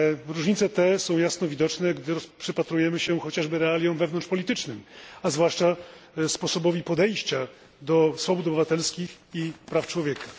Różnice te są jasno widoczne, gdy przypatrujemy się chociażby realiom wewnątrzpolitycznym, a zwłaszcza sposobowi podejścia do swobód obywatelskich i praw człowieka.